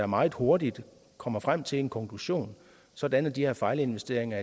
meget hurtigt kommer frem til en konklusion sådan at de her fejlinvesteringer